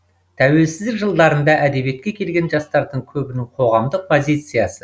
тәуелсіздік жылдарында әдебиетке келген жастардың көбінің қоғамдық позициясы